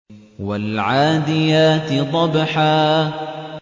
وَالْعَادِيَاتِ ضَبْحًا